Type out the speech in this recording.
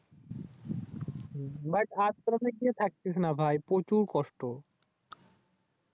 ভাই আশ্রমে গিয়ে থাকিসনা ভাই প্রচুর কষ্ট